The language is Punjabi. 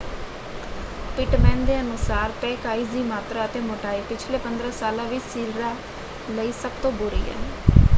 ਪਿਟਮੈਨ ਦੇ ਅਨੁਸਾਰ ਪੈਕ ਆਈਸ ਦੀ ਮਾਤਰਾ ਅਤੇ ਮੋਟਾਈ ਪਿਛਲੇ 15 ਸਾਲਾਂ ਵਿੱਚ ਸੀਲਰਾਂ ਲਈ ਸਭ ਤੋਂ ਬੁਰੀ ਹੈ।